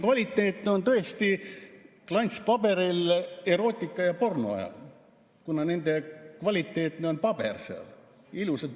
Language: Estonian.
Kvaliteetsed on ehk tõesti klantspaberil erootika‑ ja pornoajakirjad, kuna nende paber on kvaliteetne ja pildid on ilusad.